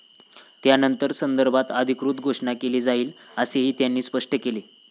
त्यानंतर यासंदर्भात अधिकृत घोषणा केली जाईल, असेही त्यांनी स्पष्ट केले.